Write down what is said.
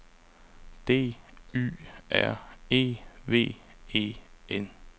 D Y R E V E N